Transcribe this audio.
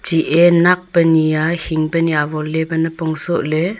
chi e nak pe nia hing pe ni awon pe nipong soh ley.